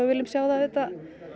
viljum sjá það auðvitað